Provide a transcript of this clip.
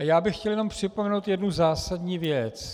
A já bych chtěl jenom připomenout jednu zásadní věc.